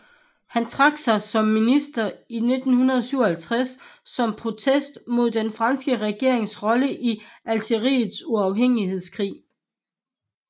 Han trak sig som minister i 1957 som protest mod den franske regerings rolle i Algeriets uafhængighedskrig